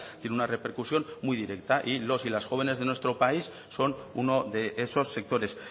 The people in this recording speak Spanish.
tiene una repercusión muy directa y los y las jóvenes de nuestro país son uno de esos sectores